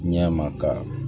Ɲɛ ma ka